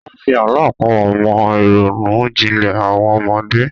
Wọ́n fi àlọ́ àpamọ̀ mọ ìrònú jinlẹ̀ àwọn ọmọdé.